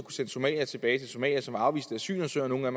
sende somaliere tilbage til somalia som afviste asylansøgere nogle af